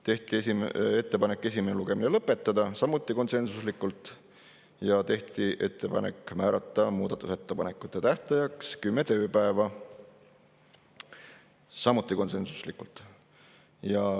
Tehti ettepanek esimene lugemine lõpetada, samuti konsensuslikult, ja tehti ettepanek määrata muudatusettepanekute tähtajaks 10 tööpäeva, samuti konsensuslikult.